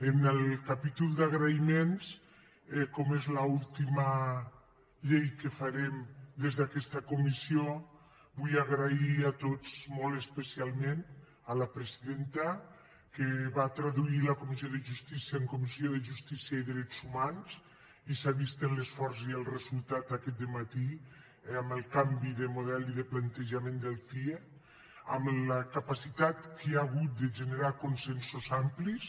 en el capítol d’agraïments com és l’última llei que farem des d’aquesta comissió vull agrair a tots molt especialment a la presidenta que va traduir la comissió de justícia en comissió de justícia i drets humans i s’ha vist l’esforç i el resultat aquest dematí amb el canvi de model i de plantejament del cie amb la capacitat que hi ha hagut de generar consensos amplis